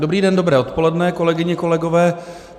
Dobrý den, dobré odpoledne, kolegyně, kolegové.